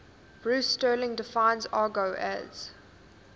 bruce sterling defines argot as